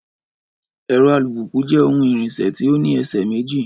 Ẹ̀rọ alùpùpù jẹ́ ohun ìrìnsẹ̀ tí ó ní ẹsẹ̀ méjì